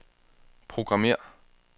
programmér